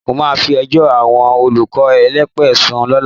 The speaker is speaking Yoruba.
Mo máa fi ẹjọ́ àwọn olùkọ́ elépè sùn lọ́la